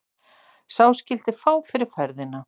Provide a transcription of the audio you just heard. Sá skyldi fá fyrir ferðina.